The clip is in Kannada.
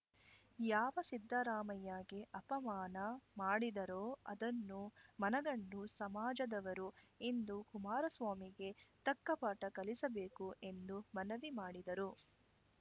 ಯಾವ ಸಿದ್ದರಾಮಯ್ಯಗೆ ಅಪಮಾನ ಮಾಡಿದರೋ ಅದನ್ನು ಮನಗಂಡು ಸಮಾಜದವರು ಇಂದು ಕುಮಾರಸ್ವಾಮಿಗೆ ತಕ್ಕಪಾಠ ಕಲಿಸಬೇಕು ಎಂದು ಮನವಿ ಮಾಡಿದರು